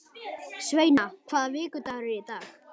Sveina, hvaða vikudagur er í dag?